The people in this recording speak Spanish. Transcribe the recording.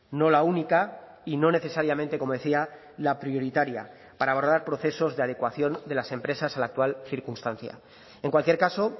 no la única y no necesariamente como decía la prioritaria para abordar procesos de adecuación de las empresas a la actual circunstancia en cualquier caso